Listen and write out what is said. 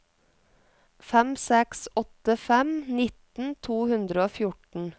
fem seks åtte fem nitten to hundre og fjorten